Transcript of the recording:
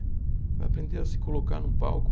Vai aprender a se colocar num palco.